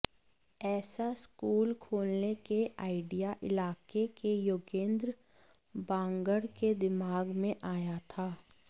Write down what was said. ऐसा स्कूल खोलने के आइडिया इलाके के योगेंद्र बांगड़ के दिमाग में आया था